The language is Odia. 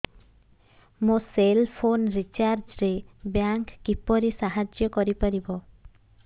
ମୋ ସେଲ୍ ଫୋନ୍ ରିଚାର୍ଜ ରେ ବ୍ୟାଙ୍କ୍ କିପରି ସାହାଯ୍ୟ କରିପାରିବ